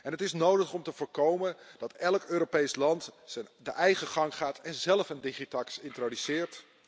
Dat is nodig om te voorkomen dat elk Europees land zijn eigen gang gaat en zelf een DigiTax introduceert.